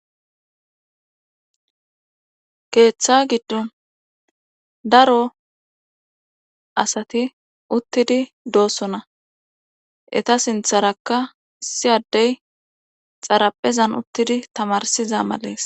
keeththa giddon daro asati uttidi doossona eta sintharakka siyaddey xaraphezan uttidi tamarsiza malees